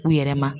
U yɛrɛ ma